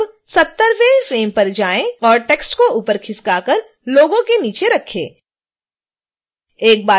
अब 70